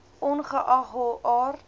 ongeag hul aard